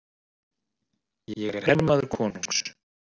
Ég er hermaður konungs.